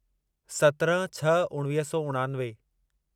सत्रहं छह उणिवीह सौ उणानवे